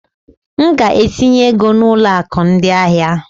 M ga-etinye ego na ụlọ akụ ndị ahịa.